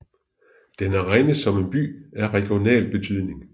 Den er regnet som en by af regional betydning